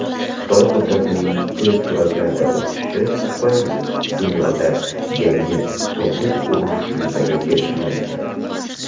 "Xitoy qudratining tez sur’atlarda o‘sishi tufayli dunyoda yangi "Sovuq urush" yuzaga kelishi mumkin.